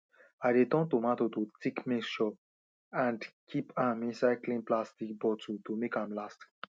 i dey turn tomato to thick mixture and keep am inside clean plastic bottle to make am last